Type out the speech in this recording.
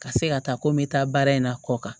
Ka se ka taa ko n bɛ taa baara in na kɔ kan